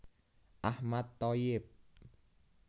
Ahmad Thoyyib